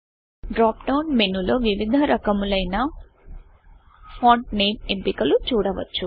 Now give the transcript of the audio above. drop down menu లో వివిధ రకములైన ఫాంట్ నేమ్ ఎంపికలు చూడవచ్చు